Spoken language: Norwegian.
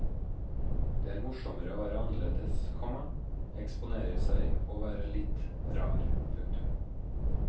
Det er morsommere å være annerledes, komma eksponere seg og være litt rar. punktum